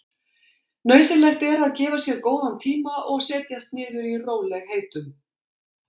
Nauðsynlegt er að gefa sér góðan tíma og setjast niður í rólegheitum.